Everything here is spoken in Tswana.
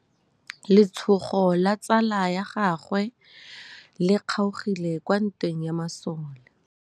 Letsôgô la tsala ya gagwe le kgaogile kwa ntweng ya masole.